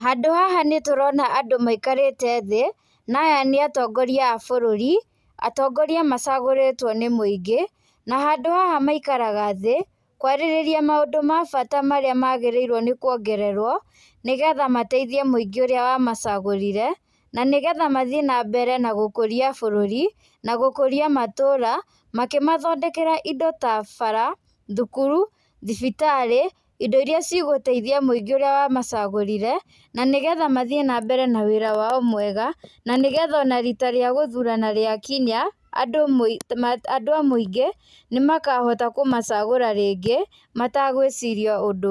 Handũ haha nĩtũrona andũ maikarĩte thĩ, na aya nĩ atongoria a bũrũri, atongoria macagũrĩtwo nĩ mũingĩ, na handũ haha maikaraga thĩ, kwarĩrĩria maũndũ ma bata marĩa magĩrĩirwo nĩ kuongererwo, nĩ getha mateithie mũingĩ ũrĩa wamacagũrire, na nĩ getha mathiĩ na mbere na gũkũria bũrũri, na gũkũria matũũra, makĩmathondekera indo ta bara, thukuru, thibitarĩ indo irĩa cigũteithia mũingĩ ũrĩa wamacagũrire, na nĩ getha mathiĩ na mbere na wĩra wao mwega, na nĩ getha ona ríiita rĩa gũthurana rĩakinya, andũ a mũingĩ nĩ makahota kũmacagũra rĩngĩ matagwĩciria ũndũ.